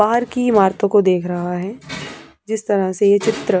बाहर की इमारतों को देख रहा है जिस तरह से यह चित्र--